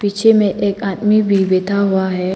पीछे में एक आदमी भी बैठा हुआ है।